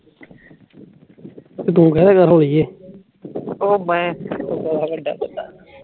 ਓ ਵੱਡਾ ਬੰਦਾ